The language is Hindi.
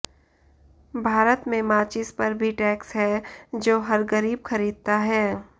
भारत में माचिस पर भी टैक्स है जो हर गरीब खरीदता है